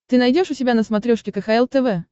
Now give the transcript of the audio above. ты найдешь у себя на смотрешке кхл тв